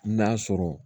N'a sɔrɔ